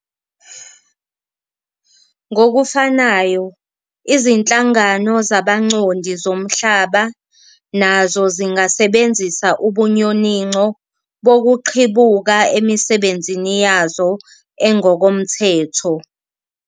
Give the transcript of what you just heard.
Ngokufanayo, izinhlangano zabancondi zomhlaba nazo zingasebenzisa ubunyoninco bokuqhibuka emisebenzini yazo engokomthetho.